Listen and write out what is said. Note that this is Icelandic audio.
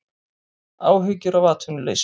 Áhyggjur af atvinnuleysinu